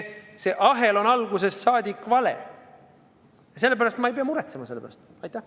See ahel on algusest saadik vale ja sellepärast ei peagi ma selle pärast muretsema.